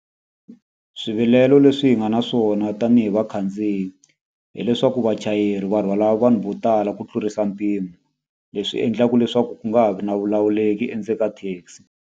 Swivilelo leswi hi nga na swona tanihi vakhandziyi, hileswaku vachayeri va rhwala vanhu vo tala ku tlurisa mpimo. Leswi endlaka leswaku ku nga ha ri na vulawuleki endzeni ka taxi.